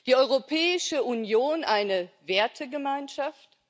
Die Europäische Union eine Wertegemeinschaft?